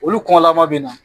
Olu kɔn la ma bɛ na.